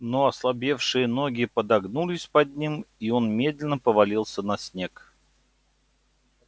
но ослабевшие ноги подогнулись под ним и он медленно повалился на снег